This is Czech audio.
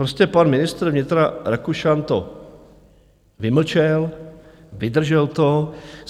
Prostě pan ministr vnitra Rakušan to vymlčel, vydržel to.